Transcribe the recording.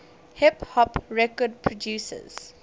hip hop record producers